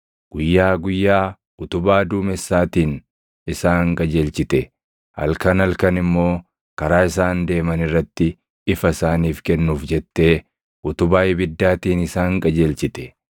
Guyyaa guyyaa utubaa duumessaatiin isaan qajeelchite; halkan halkan immoo karaa isaan deeman irratti ifa isaaniif kennuuf jettee utubaa ibiddaatiin isaan qajeelchite.